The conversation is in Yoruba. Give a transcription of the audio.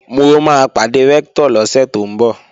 Mo máa pàdé Rẹ́ktọ̀ lọ́sẹ̀ tó ń bọ̀